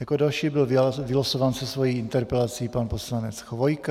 Jako další byl vylosován se svou interpelací pan poslanec Chvojka.